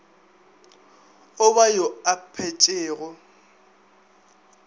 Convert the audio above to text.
o ba yo a phetšego